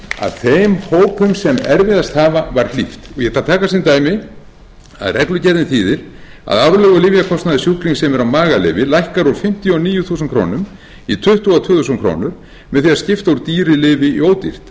að þeim hópum sem erfiðast hafa var hlíft ég ætla að taka sem dæmi að reglugerðin þýðir að aflögu lyfjakostnaður sjúklings sem er á magalyfi lækkar úr fimmtíu og níu þúsund í tuttugu og tvö þúsund krónur með því að skipta úr dýru lyfi í ódýrt